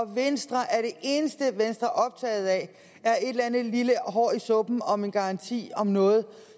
venstre er optaget af et eller andet lille hår i suppen om en garanti om noget